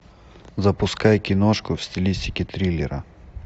запускай киношку в стилистике триллера